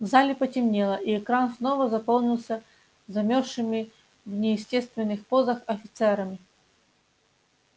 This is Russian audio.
в зале потемнело и экран снова заполнился замершими в неестественных позах офицерами